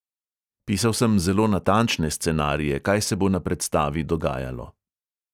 Pisal sem zelo natančne scenarije, kaj se bo na predstavi dogajalo.